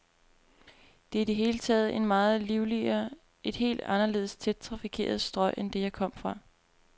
Det er i det hele taget et meget livligere, et helt anderledes tæt trafikeret strøg end det, jeg kom fra.